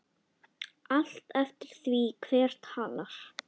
Allt eftir því hver talar.